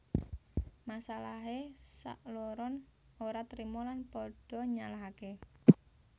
Masalahé sakloron ora terima lan pada nyalahaké